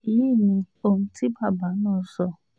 èyí ni ohun tí bàbá náà sọ